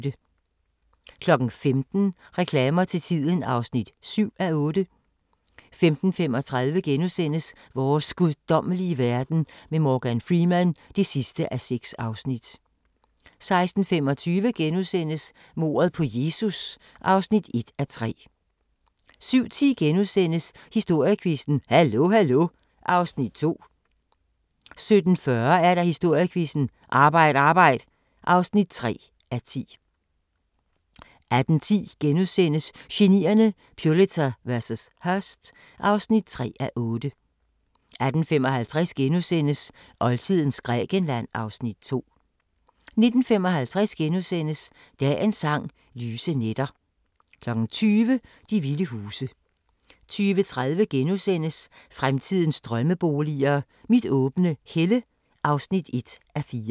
15:00: Reklamer til tiden (7:8) 15:35: Vores guddommelige verden med Morgan Freeman (6:6)* 16:25: Mordet på Jesus (1:3)* 17:10: Historiequizzen: Hallo Hallo (2:10)* 17:40: Historiequizzen: Arbejd Arbejd (3:10) 18:10: Genierne: Pulitzer vs. Hearst (3:8)* 18:55: Oldtidens Grækenland (Afs. 2)* 19:55: Dagens Sang: Lyse nætter * 20:00: De vilde huse 20:30: Fremtidens drømmeboliger: Mit åbne helle (1:4)